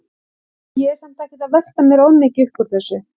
Ég er samt ekkert að velta mér of mikið upp úr þessu.